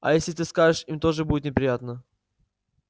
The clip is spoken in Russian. а если ты скажешь им тоже будет неприятно